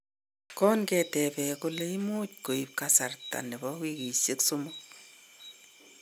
konketeben kole imuj koib kassrasta nebo wikishen somok